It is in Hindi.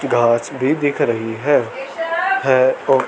घास भी दिख रही है है औ--